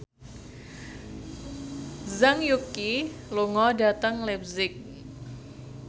Zhang Yuqi lunga dhateng leipzig